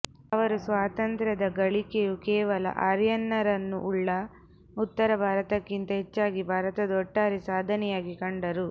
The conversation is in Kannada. ಅವರು ಸ್ವಾತಂತ್ರದ ಗಳಿಕೆಯು ಕೇವಲ ಆರ್ಯನ್ನರನ್ನು ಉಳ್ಳ ಉತ್ತರ ಭಾಗಕ್ಕಿಂತ ಹೆಚ್ಚಾಗಿ ಭಾರತದ ಒಟ್ಟಾರೆ ಸಾಧನೆಯಾಗಿ ಕಂಡರು